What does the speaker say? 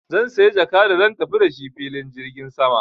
Zan saya jaka da zan tafi da shi filin jirgin sama.